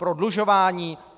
Prodlužování?